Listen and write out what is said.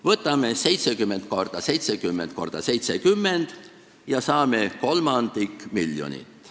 Võtame 70 × 70 × 70 ja saame kolmandiku miljonist.